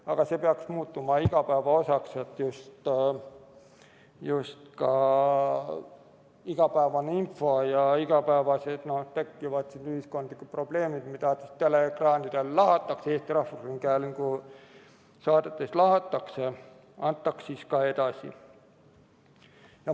Aga see peaks muutuma igapäeva osaks, et just ka igapäevane info ja igapäevaselt tekkivad ühiskondlikud probleemid, mida teleekraanidel lahatakse, Eesti Rahvusringhäälingu saadetes lahatakse, antaks siis ka edasi.